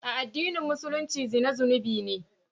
A addinin Musulunci zina zunubi ne.